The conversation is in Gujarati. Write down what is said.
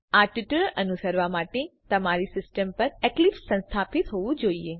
આ ટ્યુટોરીયલ અનુસરવા માટે તમારી સિસ્ટમ પર એક્લીપ્સ સ્થાપિત હોવું જોઈએ